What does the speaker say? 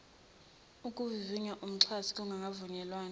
ukuvivinya umxhasi kungakavunyelwana